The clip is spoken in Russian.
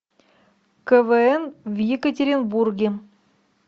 квн в екатеринбурге